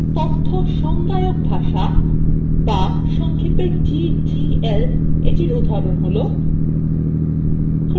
তথ্য সংজ্ঞায়ক ভাষা বা সংক্ষেপে ddl এর উদাহরণ ddl :